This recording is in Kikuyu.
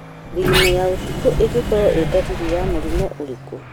Thigino ya ũtukũ ĩngĩkorwo ĩ ndariri ya mũrimũ ũrĩkũ?